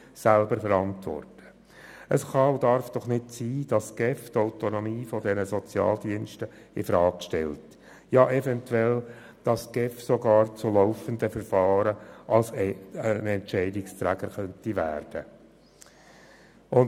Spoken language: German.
Es kann und darf nicht sein, dass die GEF die Autonomie der Sozialdienste in Frage stellt, ja eventuell sogar in laufenden Verfahren zur Entscheidungsträgerin werden könnte.